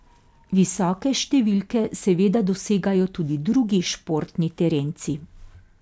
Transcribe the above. Visoke številke seveda dosegajo tudi drugi športni terenci.